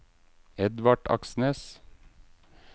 Edvard Aksnes